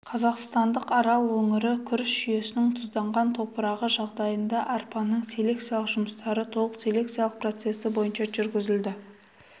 қазақстандық арал өңірі күріш жүйесінің тұзданған топырағы жағдайында арпаның селекциялық жұмыстары толық селекциялық процессі бойынша жүргізілді